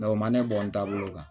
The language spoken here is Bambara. o man ne bɔ n taabolo kan